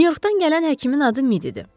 Nyu-Yorkdan gələn həkimin adı Mid idi.